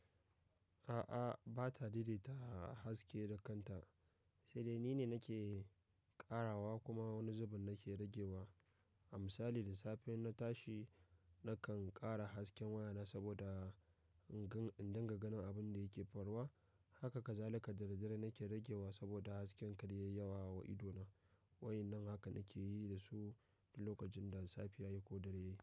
A'a, ba ta daidaita haske da kanta, sai dai ni ne nake ƙarawa kuma wani zubin nake rage wa. A misali da safe na tashi nakan ƙara hasken wayana saboda in gan-- in dinga ganin abun da yake faruwa. Haka kazalika dare dare nake rage wa saboda hasken kar yayi yawa wa ido na. Wa i nan haka nake yi da su lokacin da safiya yake ko dare yake.